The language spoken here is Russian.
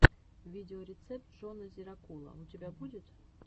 видеорецепт джона зирокула у тебя будет